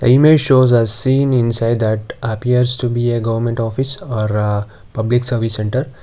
image shows a seen inside that appears to be a government office are public service centre.